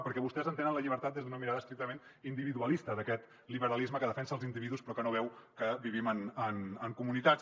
perquè vostès entenen la llibertat des d’una mirada estrictament individualista d’aquest liberalisme que defensa els individus però que no veu que vivim en comunitats